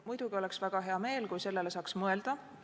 Muidugi oleks väga hea meel, kui sellele saaks mõelda.